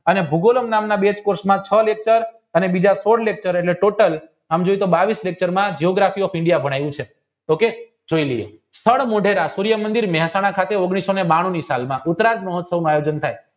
અને ભૂગોળો નામના બે કોર્સમાં છ lecture અને બીજા સોળ lecture એટલે ટોટલ આમ જોયી તો બાવીશ lecture માં ભણાયું છે જોય લઇએ સૂર્ય મંદિર મહેસાણા ખાતે ઓગણીઓસોને બાંણુ ની સાલ માં ઉતરાગ મહોત્સવ માં આયોજિત થાય